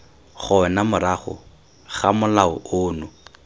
gona morago ga molao ono